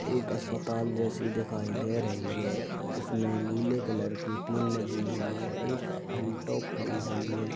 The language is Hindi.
एक अस्पताल जैसी दिखाई दे रही है। इसमें नीले कलर की टिन लगी हुई है। एक अल्टो खड़ी हुई है।